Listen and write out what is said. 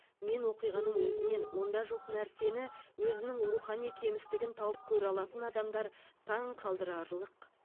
мен оқиғаның өзінен онда жоқ нәрсені өзінің рухани кемістігін тауып көре алатын адамдар таң қалдырарлық